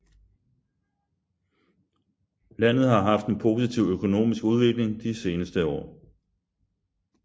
Landet har haft en positiv økonomisk udvikling de seneste år